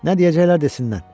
Nə deyəcəklər desinlər.